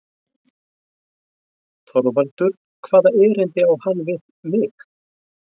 ÞORVALDUR: Hvaða erindi á hann við mig?